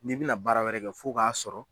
N'i bi na baara wɛrɛ kɛ f'o k'a sɔrɔ